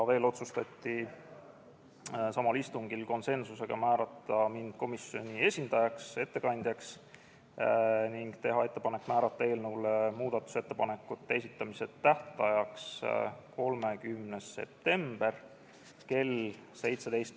Veel otsustati samal istungil konsensuslikult, et määratakse mind komisjoni ettekandjaks, ning tehti ettepanek määrata eelnõu muudatusettepanekute esitamise tähtajaks 30. september kell 17.